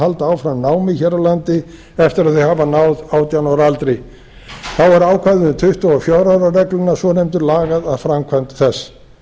halda áfram námi hér á landi eftir að þau hafa náð átján ára aldri þá er ákvæði um tuttugu og fjögurra ára regluna svonefndu lagað að framkvæmd þess